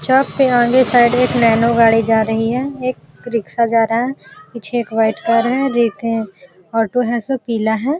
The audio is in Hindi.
एक नैनो गाड़ी जा रही है। एक रिक्शा जा रहा है। कुछ एक वाइट कार है। एक ऑटो है उसमे से पीला है।